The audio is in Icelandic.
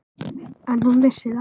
En hún vissi það.